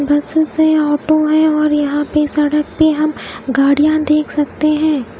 Buses है auto है और यहा सडक पे हम गाड़िया देख सकते है।